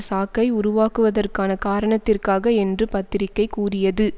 சாக்கை உருவாக்குவதற்கான காரணத்திற்காக என்று பத்திரிக்கை கூறியது